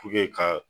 ka